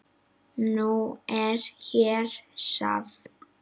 Nú er hér safn.